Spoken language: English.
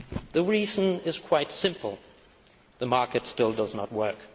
The reason is quite simple the market still does not work.